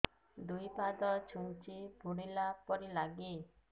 ଦୁଇ ପାଦ ଛୁଞ୍ଚି ଫୁଡିଲା ପରି ଲାଗେ